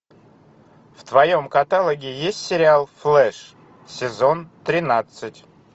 в твоем каталоге есть сериал флэш сезон тринадцать